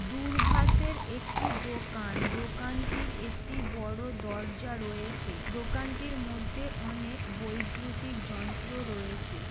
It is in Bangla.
দুর্ভাসের একটি দোকান দোকানটির একটি বড় দরজা রয়েছে দোকানটির মধ্যে অনেক বৈদ্যুতিক যন্ত্র রয়েছে।